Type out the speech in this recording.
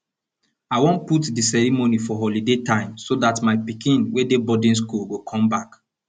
i wan put the ceremony for holiday time so dat my pikin wey dey boarding school go come back